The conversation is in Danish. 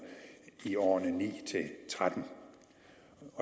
i årene og ni til tretten